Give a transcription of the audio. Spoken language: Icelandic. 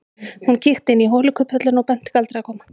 Hún kíkti inn í holukubbhöllina og benti Galdri að koma.